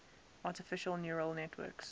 artificial neural networks